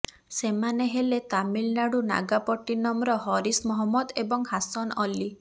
ସେମାନେ ହେଲେ ତାମିଲନାଡୁ ନାଗାପଟ୍ଟିନମର ହରିଶ ମହମ୍ମଦ ଏବଂ ହାସନ ଅଲ୍ଲୀ